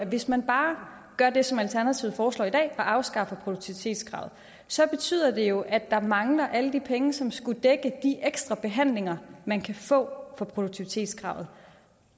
hvis man bare gør det som alternativet foreslår i dag at afskaffe produktivitetskravet så betyder det jo at der mangler alle de penge som skulle dække de ekstra behandlinger man kan få for produktivitetskravet